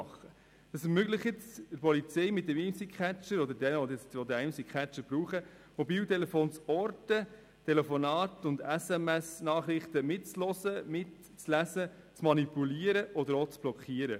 Der Imsi-Catcher ermöglicht es der Polizei oder jedem, der ihn braucht, Mobiltelefone zu orten, Telefonate und SMS-Nachrichten mitzuhören beziehungsweise mitzulesen, zu manipulieren oder auch zu blockieren.